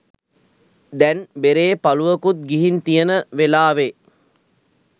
දැන් බෙරේ පලුවකුත් ගිහින් තියෙන වෙලාවේ